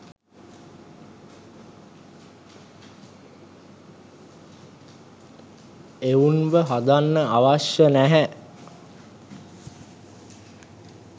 එවුන්ව හදන්න අවශ්‍ය නැහැ